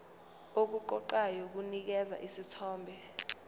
okuqoqayo kunikeza isithombe